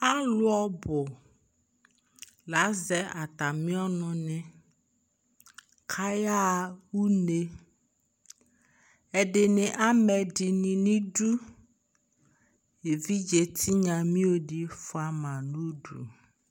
Alʋ ɔbʋ la azɛ atamɩ ɔnʋnɩ kʋ ayaɣa une Ɛdɩnɩ amɛ ɛdɩnɩ nʋ idu Evidzetɩnya mio dɩ fʋa ma nʋ udu